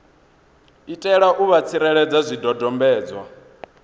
itela u vha tsireledza zwidodombedzwa